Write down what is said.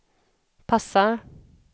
passar